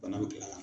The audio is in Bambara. Bana be gɛlɛya